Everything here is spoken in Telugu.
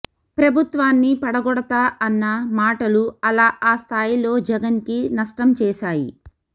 ప్రభుత్వాన్ని పడగొడతా అన్న మాటలు అలా ఆ స్థాయిలో జగన్కి నష్టం చేశాయి